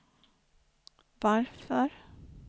varför